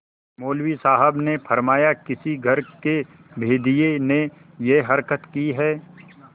मौलवी साहब ने फरमाया किसी घर के भेदिये ने यह हरकत की है